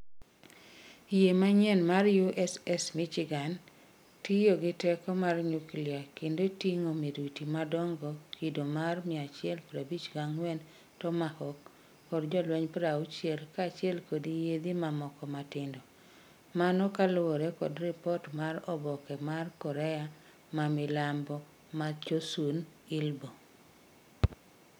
Yie mayie mar USS Michigan tiyo gi teko mar nyuklia kendo tingo miruti madongo kido mar 154 Tomahawk kod jolweny 60 kachiel kod yiedhi mamoko matindo, mano kaluore kod ripot mar oboke mar korea ma minambo mar Chosun Ilbo